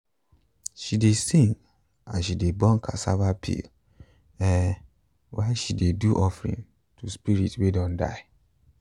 she dey sing as she dey burn cassava peel um while she dey do offering to spirit way don die